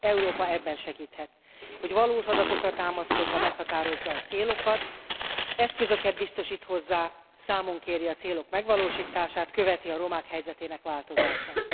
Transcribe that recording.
Európa ebben segíthet, hogy valós adatokra támaszkodva meghatározza a célokat, eszközöket biztosít hozzá, számon kéri a célok megvalósítását, követi a romák helyzetének változását.